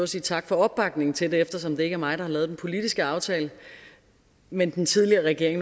sige tak for opbakningen til det eftersom det ikke er mig der har lavet den politiske aftale men den tidligere regering